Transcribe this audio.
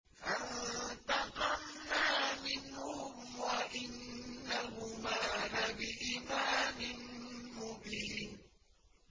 فَانتَقَمْنَا مِنْهُمْ وَإِنَّهُمَا لَبِإِمَامٍ مُّبِينٍ